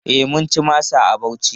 E, mun ci masa a Bauchi.